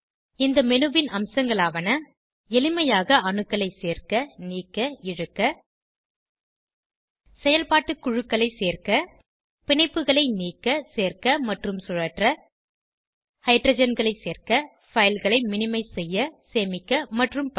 இந்த மேனு ன் அம்சங்களாவன எளிமைாக அணுக்களை சேர்க்க நீக்க இழுக்க செயல்பாட்டு குழுக்களை சேர்க்க பிணைப்புகளை நீக்க சேர்க்க மற்றும் சுழற்ற ஹைட்ரஜன்களை சேர்க்க fileகளை மினிமைஸ் செய்ய சேமிக்க மற்றும் பல